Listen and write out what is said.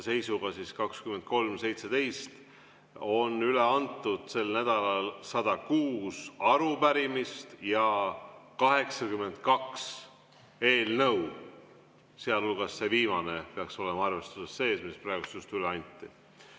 Seisuga kell 23.17 on sel nädalal üle antud 106 arupärimist ja 82 eelnõu, sealhulgas see viimane peaks olema ka arvestatud, mis praegu just üle anti.